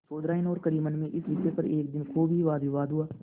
चौधराइन और करीमन में इस विषय पर एक दिन खूब ही वादविवाद हुआ